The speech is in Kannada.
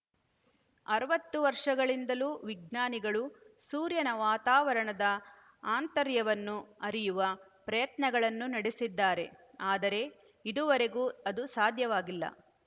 ಅರವತ್ತು ವರ್ಷಗಳಿಂದಲೂ ವಿಜ್ಞಾನಿಗಳು ಸೂರ್ಯನ ವಾತಾವರಣದ ಆಂತರ್ಯವನ್ನು ಅರಿಯುವ ಪ್ರಯತ್ನಗಳನ್ನು ನಡೆಸಿದ್ದಾರೆ ಆದರೆ ಇದುವರೆಗೂ ಅದು ಸಾಧ್ಯವಾಗಿಲ್ಲ